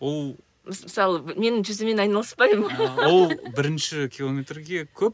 ол мысалы мен жүзумен айналыспаймын ол бірінші километрге көп